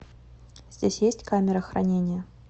здесь есть камера хранения